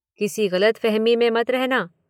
किसी गलतफहमी में मत रहना।